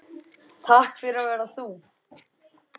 Takk fyrir að vera þú.